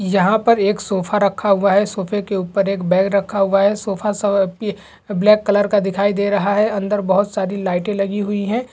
यहाँ पर के सोफे रखा हुआ है सोफे के ऊपर एक बैग रखा हुआ है ब्लैक कलर का दिखाई दे रहा है अंदर बहुत सारी लाइटे लगी हुई है।